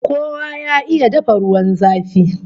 Kowa ya iya dafa ruwan zafi!